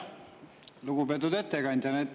Lugupeetud ettekandja!